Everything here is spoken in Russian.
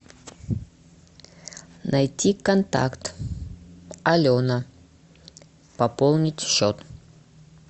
найти контакт алена пополнить счет